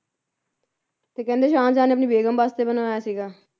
ਤੇ ਕਹਿੰਦੇ ਸ਼ਾਹਜਹਾਂ ਨੇ ਆਪਣੀ ਬੇਗਮ ਵਾਸਤੇ ਬਣਵਾਇਆ ਸੀਗਾ।